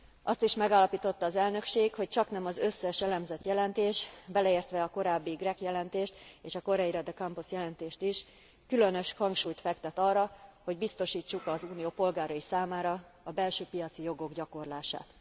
Azt is megállapította az elnökség, hogy csaknem az összes elemzett jelentés, beleértve a korábbi Grech jelentést és a Correia De Campos jelentést is, különös hangsúlyt fektet arra, hogy biztosítsuk az Unió polgárai számára a belső piaci jogok gyakorlását.